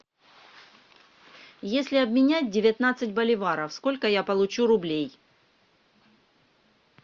если обменять девятнадцать боливаров сколько я получу рублей